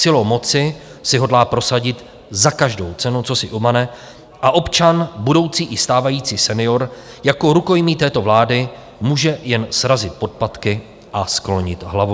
Silou moci si hodlá prosadit za každou cenu, co si umane, a občan, budoucí i stávající senior jako rukojmí této vlády může jen srazit podpatky a sklonit hlavu.